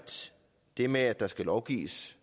det med at der skal lovgives